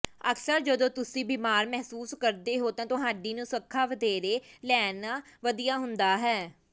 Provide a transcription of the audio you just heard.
ਅਕਸਰ ਜਦੋਂ ਤੁਸੀਂ ਬਿਮਾਰ ਮਹਿਸੂਸ ਕਰਦੇ ਹੋ ਤਾਂ ਤੁਹਾਡੀ ਨੁਸਖ਼ਾ ਵਧੇਰੇ ਲੈਣਾ ਵਧੀਆ ਹੁੰਦਾ ਹੈ